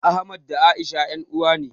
Ahmad da A'isha ƴan uwa ne.